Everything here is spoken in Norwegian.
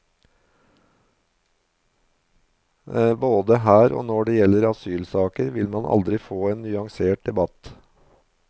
Både her og når det gjelder asylsaker vil man aldri få en nyansert debatt.